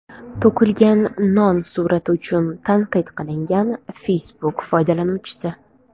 To‘kilgan non surati uchun tanqid qilingan Facebook foydalanuvchisi.